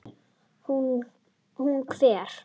Hún hver?